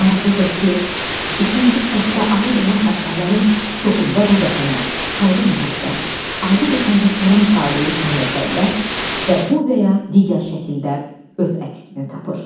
Maraqlıdır ki, ikinci xəttə aid olan əsərlərin çoxunda da vətənə, xalqa məhəbbət, adi vətəndaşların taleyi kimi məsələlər və bu və ya digər şəkildə öz əksini tapır.